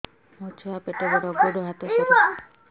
ମୋ ଛୁଆ ପେଟ ବଡ଼ ଗୋଡ଼ ହାତ ସରୁ